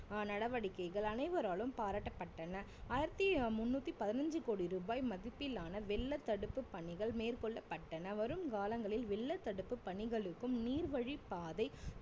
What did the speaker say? ஆஹ் நடவடிக்கைகள் அனைவராலும் பாராட்டப்பட்டன ஆயிரத்தி முண்ணூத்தி பதினஞ்சி கோடி ரூபாய் மதிப்பிலான வெள்ள தடுப்பு பணிகள் மேற்கொள்ளப்பட்டன வரும் காலங்களில் வெள்ள தடுப்பு பணிகளுக்கும் நீர்வழி பாதை